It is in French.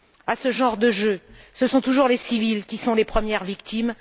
À ce genre de jeu, ce sont toujours les civils qui sont les premières victimes.